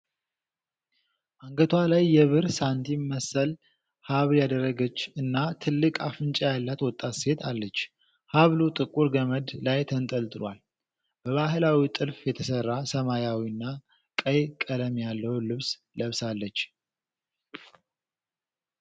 አንገቷ ላይ የብር ሳንቲም መሰል ሐብል ያደረገች እና ትልቅ አፍንጫ ያላት ወጣት ሴት አለች። ሐብሉ ጥቁር ገመድ ላይ ተንጠልጥሏል። በባህላዊ ጥልፍ የተሰራ ሰማያዊና ቀይ ቀለም ያለው ልብስ ለብሳለች።